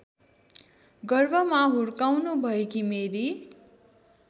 गर्भमा हुर्काउनुभएकी मेरी